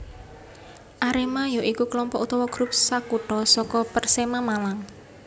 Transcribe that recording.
Arema ya iku kelompok utawa grup sakutha saka Persema Malang